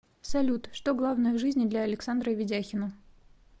салют что главное в жизни для александра ведяхина